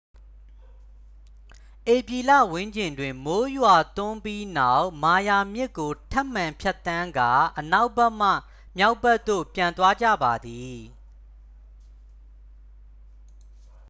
ဧပြီလဝန်းကျင်တွင် မိုးရွာသွန်းပြီးနောက် မာယာမြစ်ကို ထပ်မံဖြတ်သန်းကာ အနောက်ဘက်မှ မြောက်ဘက်သို့ ပြန်သွားကြပါသည်